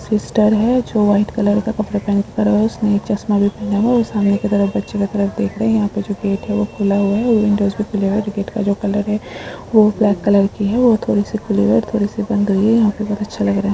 एक सिस्टर है जो वाइट कलर का कपड़े पहन कर उसने एक चश्मा भी पहना हुआ है और सामने की तरफ बच्चे का ग्रुप देख रहे है यहाँ पे जो गेट है वह खुला हुआ है और विंडोज नही खुले हुऐ गेट का जो कलर है वह ब्लैक कलर की है और थोड़ी सी खुली है और थोड़ी सी बंद हुई है यहाँ पे बोहोत अच्छा लग रहा हे।